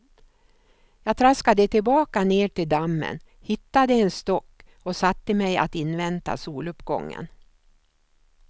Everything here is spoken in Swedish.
Jag traskade tillbaka ner till dammen, hittade en stock och satte mig att invänta soluppgången.